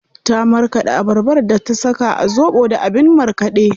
Ta marƙaɗa abarbar da ta saka a zobo da abin markaɗe.